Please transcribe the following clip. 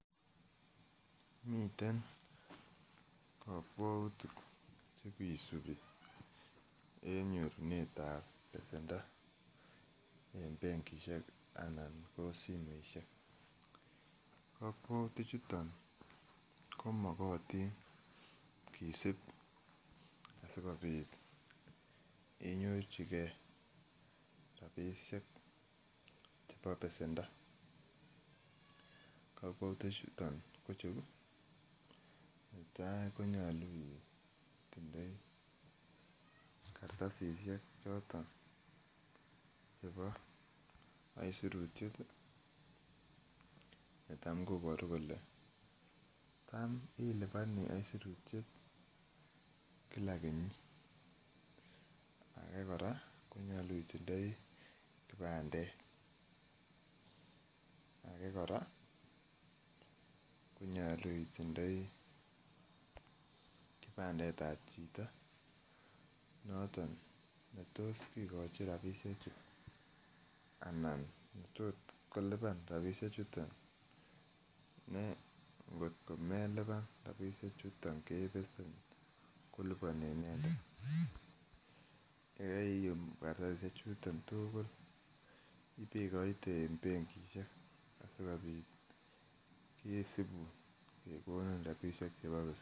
Miten kokwoutik chekisibi en nyorunet ab besendo en benkisiek anan ko simoisiek kokwoutik chuton komokotin kisib asikobit kenyorchigee rapisiek chebo besendo kokwoutik chuton ko cheu, netai ko nyolu itindoi kartasisiek choton chebo aisurutiet netam koboru kole tam iliponii aisurutiet kila kenyit age kora konyolu itindoi kipandet age kora konyolu itindoi kipandet ab chito noton netos kikochi rapisiek chu anan netot kolipan rapisiek chuton ne ngotko melipan rapisiek chuton kebesen koliponji inendet yekeiyum kartasisiek chuton tugul ibekoite en benkisiek asikobit kisibun kekonin rapisiek chebo besendo